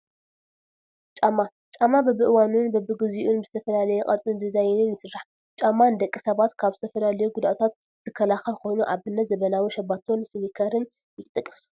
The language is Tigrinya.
ጫማ፡- ጫማ በቢእዋኑን በቢ ግዚኡን ብዝተፈላለየ ቅርፅን ዲዛይንን ይስራሕ፡፡ ጫማ ንደቂ ሰባት ካብ ዝተፈላለዩ ጉድኣታት ዝከላኸል ኮይኑ ኣብነት ዘበናዊ ሸባቶን ሲኒከርን ይጥቀሱ፡፡